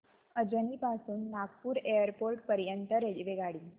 अजनी पासून नागपूर एअरपोर्ट पर्यंत रेल्वेगाडी